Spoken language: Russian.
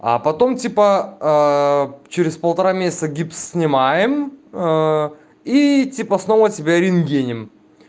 а потом типа через полтора месяца гипс снимаем и типа снова тебя рентгенем